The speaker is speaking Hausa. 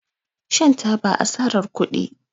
Shan taba asarar kudi